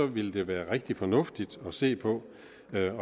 ville det være rigtig fornuftigt at se på